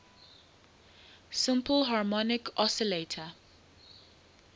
simple harmonic oscillator